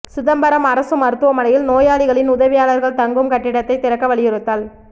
சிதம்பரம் அரசு மருத்துவமனையில் நோயாளிகளின் உதவியாளர்கள் தங்கும் கட்டிடத்தை திறக்க வலியுறுத்தல்